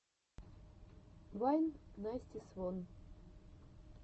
вайн насти свон